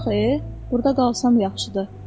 Yox e, burda qalsam yaxşıdır.